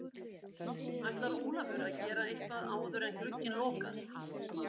Ætlar Ólafur að gera eitthvað áður en glugginn lokar?